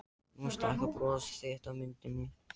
Nú stækkar bros þitt á myndinni.